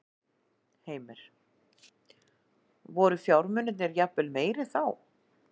Heimir: Voru fjármunirnir jafnvel meiri þá?